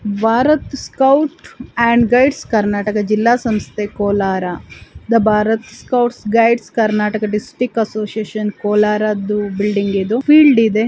Bharat scout and guides Karnataka ಜಿಲ್ಲೆ ಸಂಸ್ಥೆ ಕೋಲಾರದ Bharat scout guides Karnataka district association ಕೋಲಾರದು ಬಿಲ್ಡಿಂಗ್ ಇದು ಫೀಲ್ಡ್ ಇದೆ.